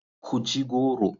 Ku ci goro.